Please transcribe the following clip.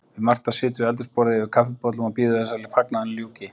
Við Marta sitjum við eldhúsborðið yfir kaffibollum og bíðum þess að fagnaðinum ljúki.